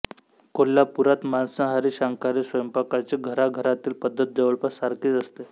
कोल्हापुरात मांसाहारी शाकाहारी स्वयंपाकाची घराघरातली पद्धत जवळपास सारखीच असते